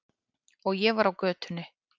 Og ég var á götunni.